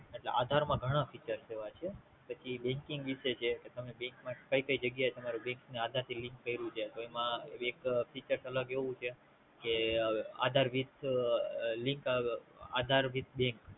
એટલે આધાર માં ઘણા feachers એવા છે પછી Banking વિશે છે કે તમે Bank માં કે કે જગ્યાએ Bank ને આધાર થી Link કયૃ છે તો એમાં એક feacher અલગ એવું છે Aadhar with link aadhar with bank